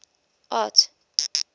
art